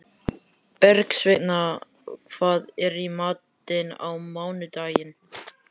Bergsveina, hvað er í matinn á mánudaginn?